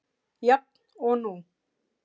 Jafn og nú.